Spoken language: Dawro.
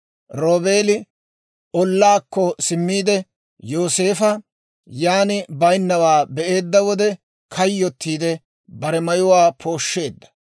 Roobeeli ollaakko simmiide, Yooseefo yan baynnawaa be'eedda wode, kayyotiide bare mayuwaa pooshsheedda.